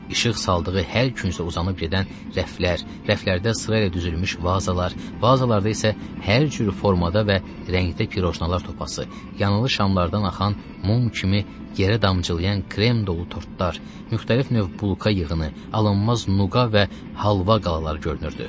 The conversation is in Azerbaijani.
Işıq saldığı hər küncə uzanıb gedən rəflər, rəflərdə sırayla düzülmüş vazalar, vazalarda isə hər cür formada və rəngdə pirojnalar topası, yanılı şamlardan axan mum kimi yerə damcılayan krem dolu tortlar, müxtəlif növ bulka yığını, alınmaz nuqa və halva qalalar görünürdü.